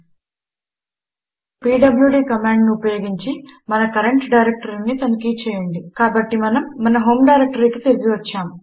ఇప్పుడు పీడ్ల్యూడీ కమాండును ఉపయోగించి మన కరంట్ డైరెక్టరీని తనిఖీ చేయండి కాబట్టి మనము మన హోం డైరెక్టరీకి తిరిగి వచ్చాము